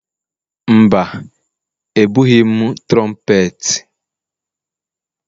Mba, ebughị m trompeti.